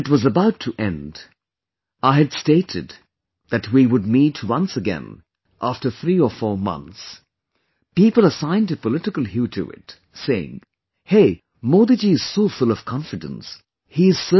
When it was about to end, I had stated that we would meet once again after 3 or 4 months, people assigned a political hue to it, saying 'Hey, Modi ji is so full of confidence, he is certain